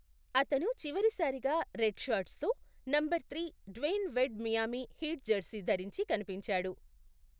అతను చివరిసారిగా రెడ్ షార్ట్స్తో number three Dwyane Wade Miami Heat jersey ధరించి కనిపించాడు.